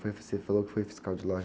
Foi, você falou que foi fiscal de loja.